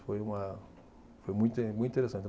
Foi uma, foi muito inte, muito interessante.